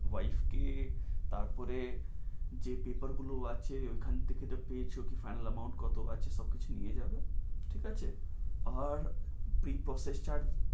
wife কে তারপরে যে paper গুলো আছে ওখান থেকে যা পেয়েছো তা final amount কত আছে সবকিছু নিয়ে যাবে। ঠিক আছে উহ এই